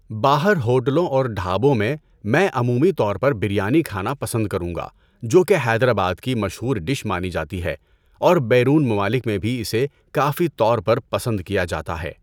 باہر ہوٹلوں اور ڈھابوں میں مَیں عمومی طور پر بریانی کھانا پسند کروں گا جو کہ حیدر آباد کی مشہور ڈش مانی جاتی ہے اور بیرون ممالک میں بھی اسے کافی طور پر پسند کیا جاتا ہے۔